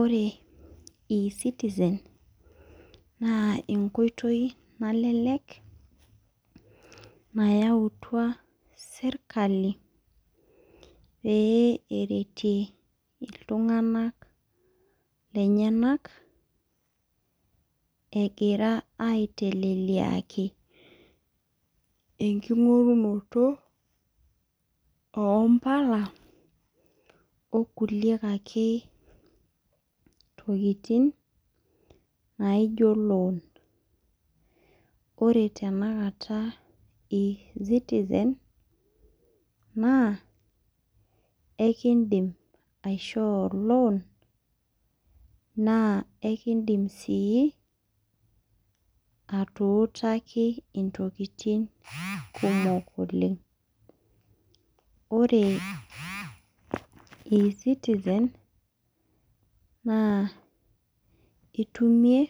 Ore e-citizen, naa enkoitoi nalelek, nayautua sirkali, pee eretie iltung'anak lenyanak, egira aiteleliaki enking'orunoto ompala, okulie ake tokiting, naijo loan. Ore tanakata e-citizen naa, ekidim aishoo loan ,naa ekidim si atuutaki intokiting kumok oleng. Ore e-citizen, naa itimie